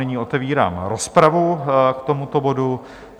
Nyní otevírám rozpravu k tomuto bodu.